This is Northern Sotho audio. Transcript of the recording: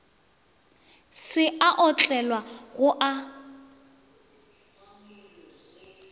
se a otlwa go a